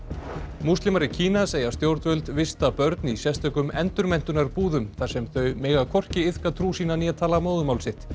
múslimar í Kína segja stjórnvöld vista börn í sérstökum þar sem þau mega hvorki iðka trú sína né tala móðurmál sitt